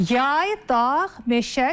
Yay, dağ, meşə, çay.